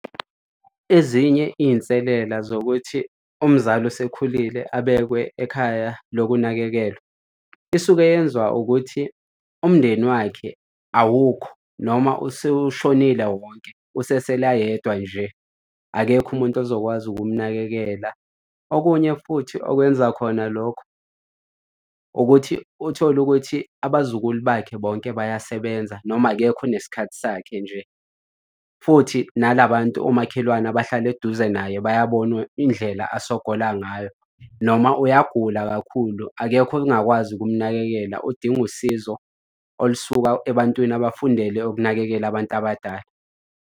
Ezinye iy'nselela zokuthi umzali osekhulile abekwe ekhaya lokunakekelwa isuke yenziwa ukuthi umndeni wakhe awukho noma useshonile wonke usesetheli ayedwa nje, akekho umuntu ozokwazi ukumnakekela. Okunye futhi okwenza khona lokho ukuthi uthole ukuthi abazukulu bakhe bonke bayasebenza noma akekho onesikhathi sakhe nje. Futhi nala bantu omakhelwane abahlala eduze naye bayabona indlela usogola ngayo. Noma uyagula kakhulu, akekho ongakwazi ukunakekela odinga usizo olusuka ebantwini abafundele ukunakekela abantu abadala.